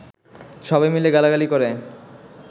সবাই মিলে গালাগালি করে